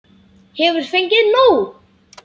Hefur fengið nóg!